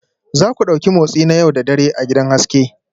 Za ku ɗauki motsi na yau da dare a gidan haske